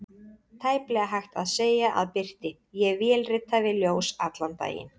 Tæplega hægt að segja að birti: ég vélrita við ljós allan daginn.